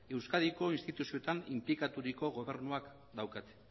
euskadiko instituzioetan inplikaturiko gobernuek daukate